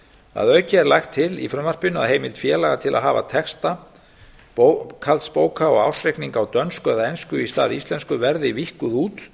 að auki er lagt til í frumvarpinu að heimild félaga til að hafa texta bókhaldsbóka og ársreikninga á dönsku eða ensku í stað íslensku verði víkkuð út